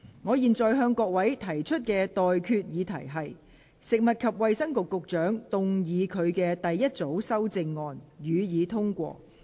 我現在向各位提出的待決議題是：食物及衞生局局長動議他的第一組修正案，予以通過。